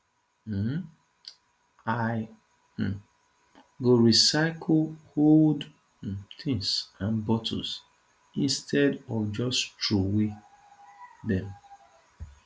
um i um go recycle old um tins and bottles instead of just troway dem